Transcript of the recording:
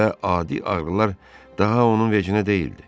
Və adi ağrılar daha onun vecinə deyildi.